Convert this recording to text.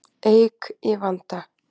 Eik í vanda